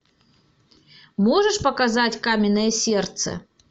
можешь показать каменное сердце